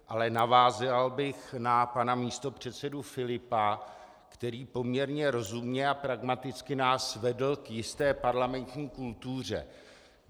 A navázal bych na pana místopředsedu Filipa, který poměrně rozumně a pragmaticky nás vedl k jisté parlamentní kultuře.